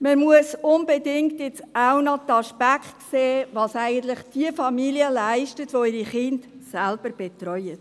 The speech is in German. Man muss nun unbedingt auch den Aspekt sehen, nämlich, was Familien leisten, die ihre Kinder selbst betreuen.